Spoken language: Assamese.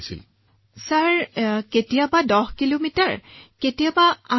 ছাৰ কিলোমিটাৰৰ হিচাপত কেতিয়াবা ১০ কিমি কেতিয়াবা ৮ কিমি